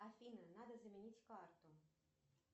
афина надо заменить карту